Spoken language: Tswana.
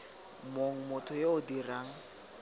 mong motho yo o dirang